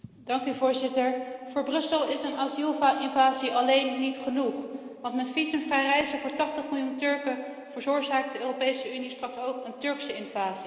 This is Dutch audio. Voor Brussel is een asielinvasie alleen niet genoeg, want met visumvrij reizen voor 80 miljoen Turken veroorzaakt de Europese Unie straks ook een Turkse invasie.